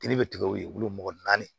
Kiri bɛ tigɛ o ye wolo mɔgɔ naani